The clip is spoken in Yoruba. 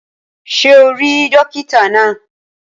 Ṣé o rí dókítà náà?